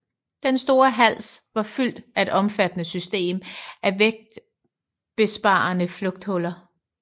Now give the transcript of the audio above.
Den store hals var fyldt af et omfattende system af vægtbesparende lufthuller